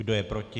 Kdo je proti?